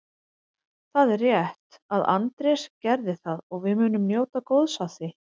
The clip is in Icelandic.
Það er rétt að Andrés gerði það og við munum njóta góðs af því.